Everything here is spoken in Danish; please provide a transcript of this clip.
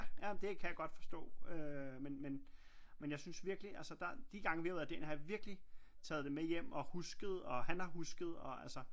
Ja men det kan jeg godt forstå øh men jeg synes virkeligt altså der de gange vi har været derinde har jeg virkelig taget det med hjem og husket og han har husket og altså